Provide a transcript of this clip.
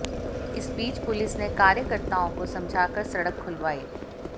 इस बीच पुलिस ने कार्यकर्ताओं को समझाकर सड़क खुलवाई